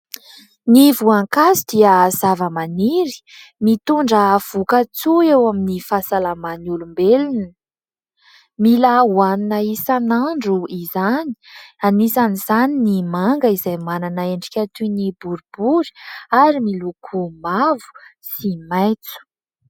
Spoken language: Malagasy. Ny voankazo dia zavamaniry mitondra voka-tsoa eo amin'ny fahasalaman'ny olombelona. Mila ho hanina isanandro izany, anisan'izany ny manga izay manana endrika toy ny boribory ary miloko mavo sy maitso.